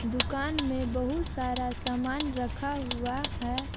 दुकान मे बहुत सारा सामान रखा हुआ है।